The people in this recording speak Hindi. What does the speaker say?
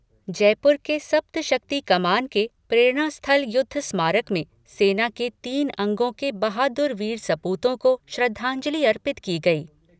जयपुर के सप्तशक्ति कमान के प्रेरणास्थल युद्धस्मारक में सेना के तीनों अंगों के बहादुर वीर सपूतों को श्रद्धांजलि अर्पित की गई।